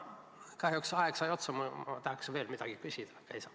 Kahjuks aeg sai otsa, ma tahaksin veel midagi küsida, aga ei saa.